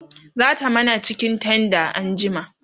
zata mana cikin tenders anjima